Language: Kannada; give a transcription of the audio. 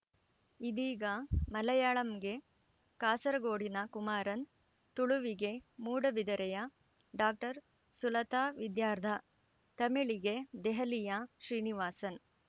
ಇದೀಗ ಮಲೆಯಾಳಂಗೆ ಕಾಸರಗೋಡಿನ ಕುಮಾರನ್‌ ತುಳುವಿಗೆ ಮೂಡುಬಿದಿರೆಯ ಡಾಕ್ಟರ್ ಸುಲತಾ ವಿದ್ಯಾಧರ್‌ ತಮಿಳಿಗೆ ದೆಹಲಿಯ ಶ್ರೀನಿವಾಸನ್‌